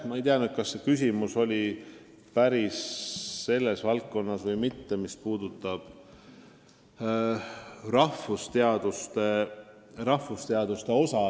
Ma ei tea, kas see küsimus oli päris selle valdkonna kohta, mida nimetatakse rahvusteadusteks.